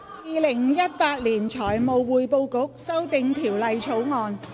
《2018年財務匯報局條例草案》。